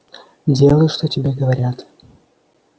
делай что тебе говорят